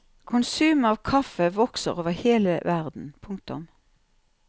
Konsumet av kaffe vokser over hele verden. punktum